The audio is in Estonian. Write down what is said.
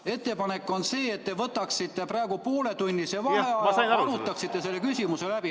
Ettepanek on see, et te võtaksite praegu pooletunnise vaheaja ja arutaksite selle küsimuse läbi.